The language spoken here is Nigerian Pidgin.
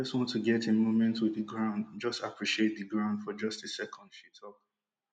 i just want to get a moment wit di ground just appreciate di ground for just a second she tok